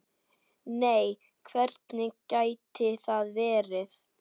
Nei hvernig gæti það verið?